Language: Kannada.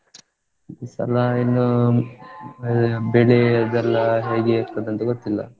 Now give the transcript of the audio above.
ಈ ಸಲ ಇನ್ನು ಬೆಳೆ ಅದ್ದೆಲ್ಲಾ ಹೇಗೆ ಇರ್ತದಂತ ಗೊತ್ತಿಲ್ಲಾ.